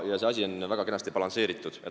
See asi on väga kenasti balansseeritud.